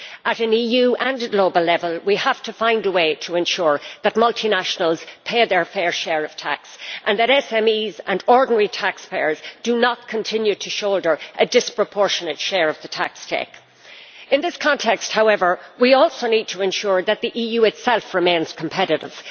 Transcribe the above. At EU and at global level we have to find a way to ensure that multinationals pay their fair share of tax and that SMEs and ordinary taxpayers do not continue to shoulder a disproportionate share of the tax take. In this context, however, we also need to ensure that the EU itself remains competitive.